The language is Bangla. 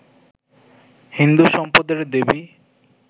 হিন্দু সম্পদের দেবী